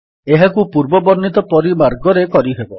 ଏହାକୁ ପୂର୍ବ ବର୍ଣ୍ଣିତ ପରି ମାର୍ଗରେ କରିହେବ